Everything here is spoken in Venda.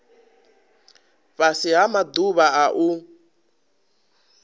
fhasi ha maḓuvha a u